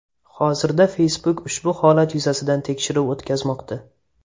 Hozirda Facebook ushbu holat yuzasidan tekshiruv o‘tkazmoqda.